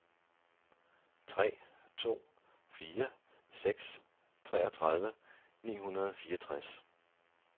tre to fire seks treogtredive ni hundrede og fireogtres